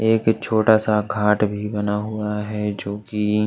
एक छोटा सा घाट भी बना हुआ है जो कि--